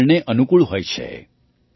પર્યાવરણને અનુકૂળ હોય છે